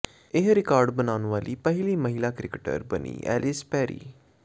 ਇਹ ਰਿਕਾਰਡ ਬਣਾਉਣ ਵਾਲੀ ਪਹਿਲੀ ਮਹਿਲਾ ਕ੍ਰਿਕਟਰ ਬਣੀ ਐਲਿਸ ਪੈਰੀ